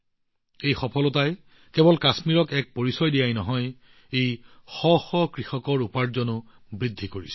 এই সফলতাই কেৱল কাশ্মীৰলৈ সুনাম অনাই নহয় ই শ শ কৃষকৰ উপাৰ্জন বৃদ্ধি কৰিছে